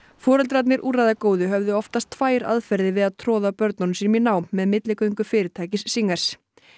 foreldrarnir höfðu oftast tvær aðferðir við að troða börnum sínum í nám með milligöngu fyrirtækis singers